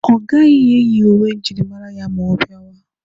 Ọ gaghị eyi uwe njirimara ya ma ọ bịawa.